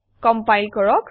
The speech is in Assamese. কমপাইল কৰক